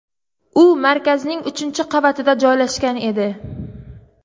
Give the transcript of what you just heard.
U markazning uchinchi qavatida joylashgan edi.